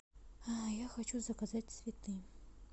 я хочу заказать цветы